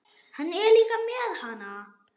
Hann er líka með HANA!